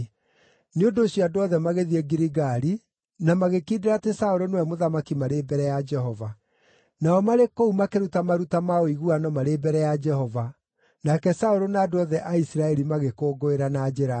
Nĩ ũndũ ũcio andũ othe magĩthiĩ Giligali na magĩkindĩra atĩ Saũlũ nĩwe mũthamaki marĩ mbere ya Jehova. Nao marĩ kũu makĩruta maruta ma ũiguano marĩ mbere ya Jehova, nake Saũlũ na andũ othe a Isiraeli magĩkũngũĩra na njĩra nene.